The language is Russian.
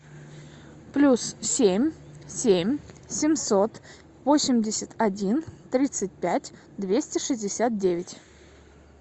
плюс семь семь семьсот восемьдесят один тридцать пять двести шестьдесят девять